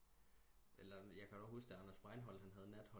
Eller jeg kan da også huske da Anders Breinholt han havde Natholdet